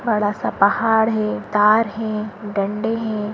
बड़ा सा पहाड़ है तार है डंडे हैं।